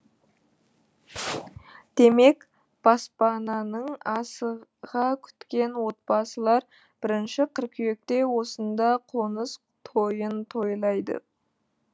демек баспананы ң асыға күткен отбасылар бірінші қыркүйекте осында қоныс тойын тойлайды